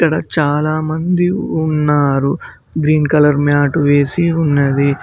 ఇక్కడ చాలా మంది ఉన్నారు గ్రీన్ కలర్ మేట్ వేసి ఉన్నది.